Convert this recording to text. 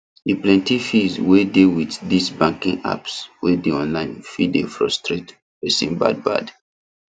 the plenty fees wey dey with this banking apps wey dey online fit dey frustrate persin bad bad